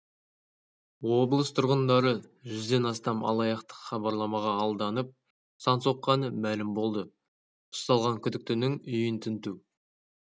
облыс тұрғындары жүзден астам алаяқтық хабарламаға алданып сан соққаны мәлім болды ұсталған күдіктінің үйін тінту